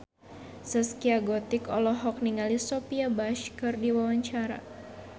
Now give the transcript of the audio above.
Zaskia Gotik olohok ningali Sophia Bush keur diwawancara